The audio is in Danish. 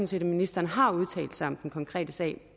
set at ministeren har udtalt sig om den konkrete sag